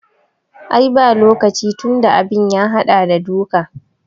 Ai ba lokaci tunda abin ya haɗa da duka